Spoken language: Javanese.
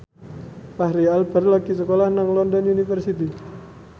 Fachri Albar lagi sekolah nang London University